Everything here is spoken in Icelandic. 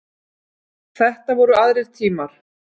Þetta voru aðrir tímar.